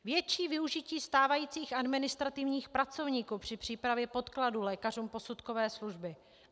Větší využití stávajících administrativních pracovníků při přípravě podkladů lékařům posudkové služby.